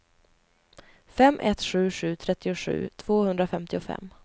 fem ett sju sju trettiosju tvåhundrafemtiofem